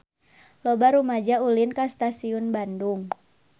Loba rumaja ulin ka Stasiun Bandung